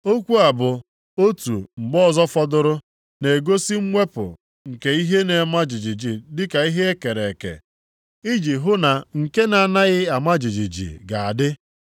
Okwu a bụ, “Otu mgbe ọzọ fọdụrụ,” na-egosi mwepụ nke ihe na-ama jijiji dịka ihe e kere eke, iji hụ na nke na-anaghị ama jijiji ga-adị.